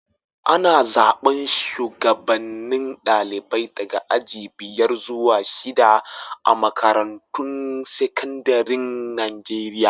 Ana zaban shugabanen dalibai daga aji biyar zuwa shida a'makarantun sekandaren Nijeriya.